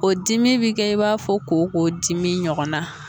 O dimi bɛ kɛ i b'a fɔ kɔkɔ dimi ɲɔgɔnna